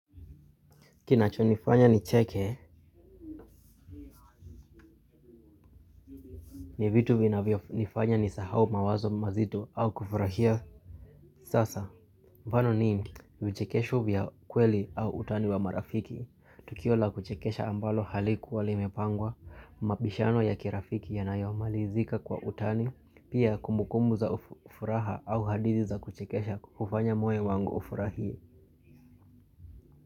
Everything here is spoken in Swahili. Kinacho nifanya nicheke, ni vitu vinavyo nifanya nisahau mawazo mazito au kufurahia. Sasa, mfano ni, vichekesho vya kweli au utani wa marafiki. Tukio la kuchekesha ambalo halikuwa limepangwa, mabishano ya kirafiki yanayomali zika kwa utani, pia kumbukumbu za furaha au hadithi za kuchekesha hufanya moyo wangu ufurahie.